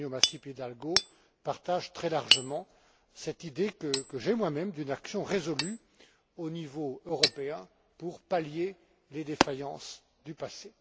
Antonio Masip Hidalgo, partage très largement cette idée que j'ai moi même d'une action résolue au niveau européen pour pallier les défaillances du passé.